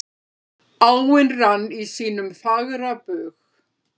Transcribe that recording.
Áin rann í sínum fagra bug.